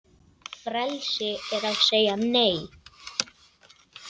Frelsi er að segja Nei!